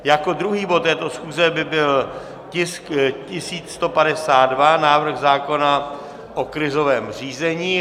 Jako druhý bod této schůze by byl tisk 1152, návrh zákona o krizovém řízení.